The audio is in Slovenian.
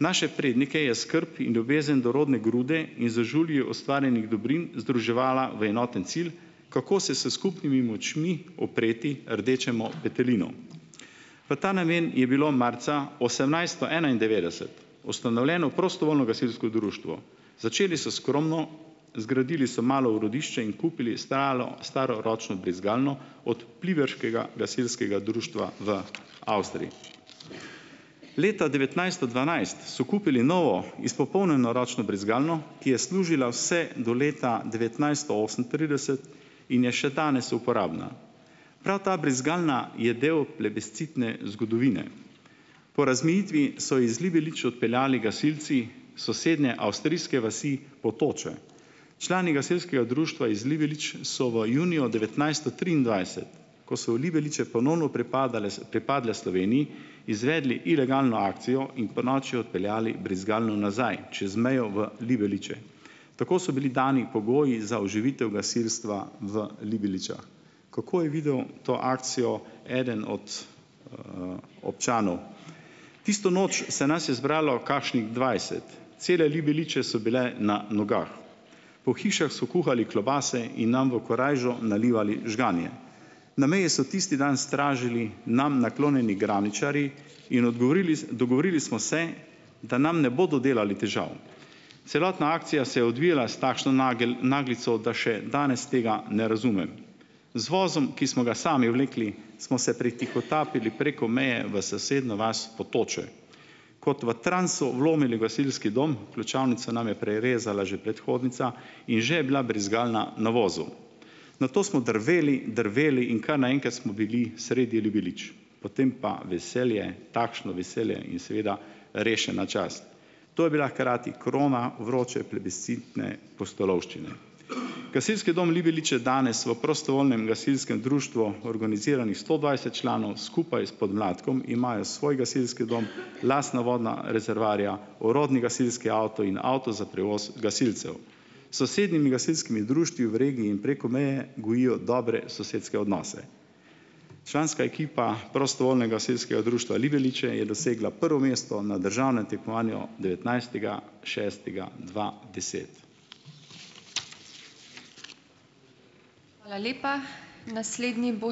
Naše prednike je skrb in ljubezen do rodne grude in z žulji ustvarjenih dobrin združevala v enoten cilj, kako se s skupnimi močmi upreti rdečemu petelinu. V ta namen je bilo marca osemnajststo enaindevetdeset ustanovljeno prostovoljno gasilsko društvo. Začeli so skromno, zgradili so malo urodišče in kupili stalo, staro ročno brizgalno od pliberškega gasilskega društva v Avstriji. Leta devetnajststo dvanajst so kupili novo izpopolnjeno ročno brizgalno, ki je služila vse do leta devetnajststo osemintrideset in je še danes uporabna. Prav ta brizgalna je del plebiscitne zgodovine. Po razmejitvi so iz Libelič odpeljali gasilci sosednje avstrijske vasi Potoče. Člani gasilskega društva iz Libelič so v juniju devetnajststo triindvajset, ko so Libeliče ponovno pripadale, pripadle Sloveniji, izvedli ilegalno akcijo in ponoči odpeljali brizgalno nazaj čez mejo v Libeliče. Tako so bili dani pogoji za oživitev gasilstva v Libeličah. Kako je videl to akcijo eden od, občanov? Tisto noč se nas je zbralo kakšnih dvajset. Cele Libeliče so bile na nogah. Po hišah so kuhali klobase in nam v korajžo nalivali žganje. Na meji so tisti dan stražili nam naklonjeni graničarji in odgovorili dogovorili smo se, da nam ne bodo delali težav. Celotna akcija se je odvijala s takšno naglico, da še danes tega ne razumem. Z vozom, ki smo ga sami vlekli, smo se pretihotapili preko meje v sosednjo vas Potoče. Kot v transu vlomili v gasilski dom, ključavnico nam je prerezala že predhodnica in že je bila brizgalna na vozu. Nato smo drveli, drveli in kar naenkrat smo bili sredi Libelič, potem pa veselje, takšno veselje in seveda rešena čast. To je bila hkrati krona vroče plebiscitne pustolovščine. Gasilski dom Libeliče je danes v prostovoljnem gasilskem društvu, organiziranih sto dvajset članov, skupaj s podmladkom imajo svoj gasilski dom, lastna vodna rezervoarja, orodni gasilski avto in avto za prevoz gasilcev. S sosednjimi gasilskimi društvih v regiji in preko meje gojijo dobre sosedske odnose. Članska ekipa gasilskega društva Libeliče je dosegla prvo mesto na državnem tekmovanju devetnajstega šestega dva deset